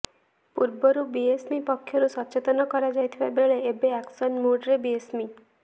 ପୂର୍ବରୁ ବିଏମ୍ସି ପକ୍ଷରୁ ସଚେତନ କରାଯାଇଥିବା ବେଳେ ଏବେ ଆକ୍ସନ୍ ମୁଡ୍ରେ ବିଏମ୍ସି